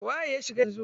Waye ya shiga yanzu?